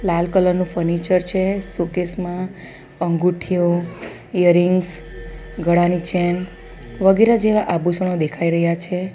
લાલ colour નું furniture છે સો કેસ માં અંગૂઠીઓ ઈયરીંગ્સ ગળાની ચેન વગેરે જેવા આભૂસણો દેખાઈ રહ્યા છે.